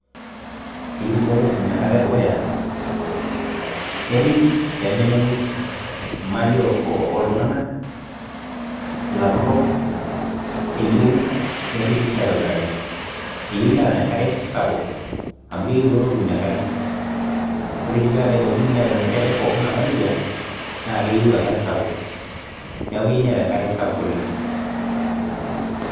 Eyieu kulo tokiting enkata e dukuya nerripi peemenya ng'wesi, imali ooltung'anak, ilapurrok, eyieu nerripi aitobiraki. Eyieu enkare sapuk, amu keyieu kulo tokiting enkare. Ore dii peedaa aiko nji neeta enoshi are pookini naba nija naa keyieu enkare sapuk. Neeku keyieu neeta enkare sapuk oleng